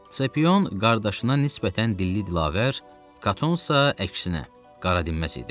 Sepion qardaşına nisbətən dilli-dilavər, Katon isə əksinə qaradinməz idi.